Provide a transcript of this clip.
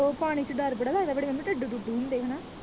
ਉਹ ਪਾਣੀ ਚ ਡਰ ਬੜਾ ਲੱਗਦਾ ਬੜੀ ਮੰਮੀ ਡੱਡੂ ਡੁੱਡੂ ਹੁੰਦੇ ਹਨਾ।